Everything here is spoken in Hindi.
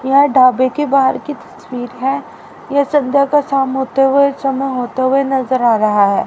यह ढाबे के बाहर की तस्वीर है यह संध्या का शाम होते हुए समय होते हुए नजर आ रहा है।